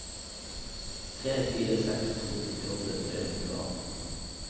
tre fire seks to nittiåtte tre hundre og atten